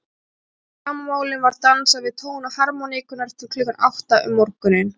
Eftir gamanmálin var dansað við tóna harmóníkunnar til klukkan átta um morguninn.